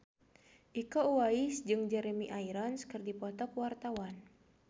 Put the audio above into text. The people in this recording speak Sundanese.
Iko Uwais jeung Jeremy Irons keur dipoto ku wartawan